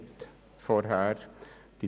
Ich bin zwar nicht mehr in der FiKo.